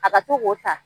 A ka to k'o ta